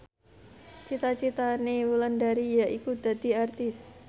cita citane Wulandari yaiku dadi Aktris